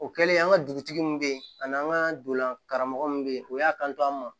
O kɛlen an ka dugutigi min bɛ yen ani an ka donlan karamɔgɔ min bɛ yen o y'a kanto an ma